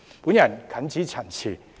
我謹此陳辭。